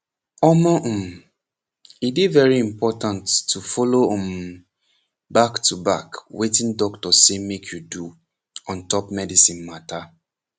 omoh um e dey very important to follow um back to back wetin your doctor say make you do on top medicine mata